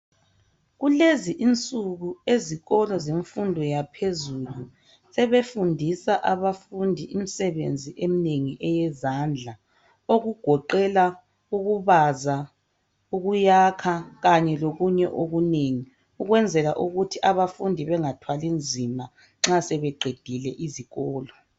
Kulez'insuku izikolo zemfundo yaphezulu sebefundisa abafundi imisebenzi yeminengi eyezandla, okugoqela ukubaza, ukuyakha kanye lokunye okunengi. Okwenzela ukuthi abafundi bengathwali nzima nxa sebeqedile izikolo.